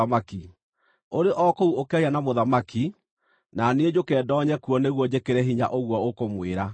Ũrĩ o kũu ũkĩaria na mũthamaki, na niĩ njũke ndoonye kuo nĩguo njĩkĩre hinya ũguo ũkũmwĩra.”